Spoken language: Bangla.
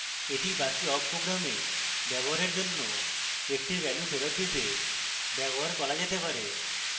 এটি বাকি awk program ব্যবহারের জন্য একটি value ফেরৎ দিতে ব্যবহার করা যেতে পারে